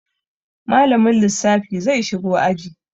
Malamin lissafi zai shigo aji.